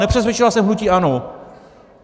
Nepřesvědčila jsem hnutí ANO.